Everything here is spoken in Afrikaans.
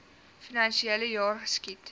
finansiele jaar geskied